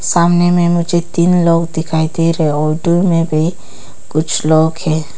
सामने में मुझे तीन लोग दिखाई दे रहे हैं में भी कुछ लोग है।